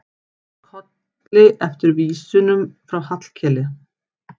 Kolli eftir vísunum frá Hallkeli.